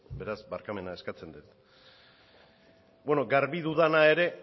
beraz barkamena eskatzen dut bueno garbi dudana ere